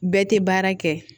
Bɛɛ tɛ baara kɛ